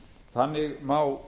þannig má